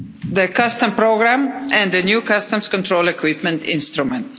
the customs programme and the new customs control equipment instrument.